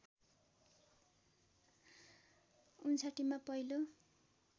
०५९ मा पहिलो